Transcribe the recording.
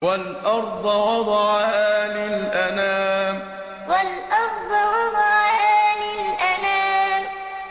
وَالْأَرْضَ وَضَعَهَا لِلْأَنَامِ وَالْأَرْضَ وَضَعَهَا لِلْأَنَامِ